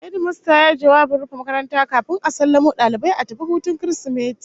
Hedimasta yayi jawabin rufe makaranta kafin a sallamo dalibai a tafi hutun Kirsimeti